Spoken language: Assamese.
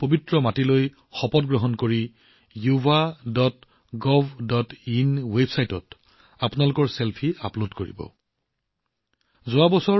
দেশৰ পবিত্ৰ মাটিত শপত গ্ৰহণ কৰাৰ সময়ত আপোনালোক সকলোৱে yuvagovinত নিজৰ ছেলফি আপলোড কৰিব লাগিব